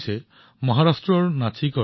তেওঁলোকে মহাৰাষ্ট্ৰৰ নাছিকত বাস কৰে